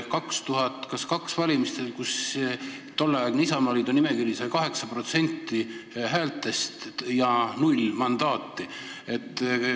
Vist oli kaks valimist, kus tolleaegse Isamaaliidu nimekiri sai 8% häältest, aga null mandaati.